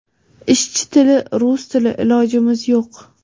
Ishchi tili – rus tili, ilojimiz yo‘q.